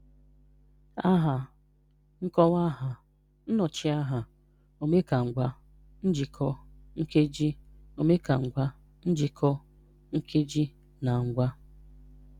Aha, Nkọwaaha, Nnọchiaha, Omekangwaa, Njikọ, Nkeji, Omekangwaa, Njikọ, Nkeji, na Ngwaa.